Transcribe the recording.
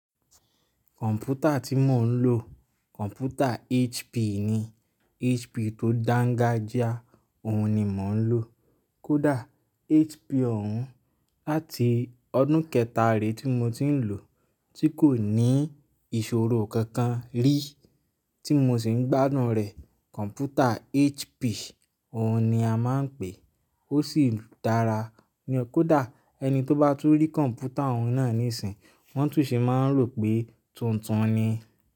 Kọ̀ǹpútà tí mò ń lò, kọ̀ǹpútà HP ni. HP tó dángájíá, òun ni mò ń lò. Kódà HP òun láti ọdún kẹtàré tí mo ti ń lò, tí kò ní ìṣòro kankan rí tí mo sì ń gbádùn rẹ̀, kọ̀ǹpútà HP òun ni a máa ń pè é, ó sì dára. Kódà ẹni tó bá tún rí kọ̀ǹpútà òun náà níìsín, wọ́n tún sì máa ń rò pé tuntun ni.